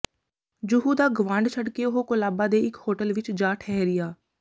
ਜੁਹੂ ਦਾ ਗਵਾਂਢ ਛੱਡ ਕੇ ਉਹ ਕੋਲਾਬਾ ਦੇ ਇਕ ਹੋਟਲ ਵਿਚ ਜਾ ਠਹਿਰਿਆ